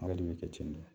Ala de bɛ kɛ ten tɔ